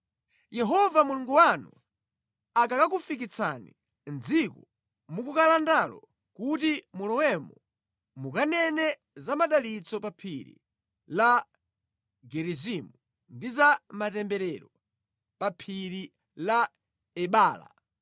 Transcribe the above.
Yehova Mulungu wanu akakakufikitsani mʼdziko mukukalandalo kuti mulowemo mukanene za madalitso pa Phiri la Gerizimu, ndi za matemberero pa Phiri la Ebala.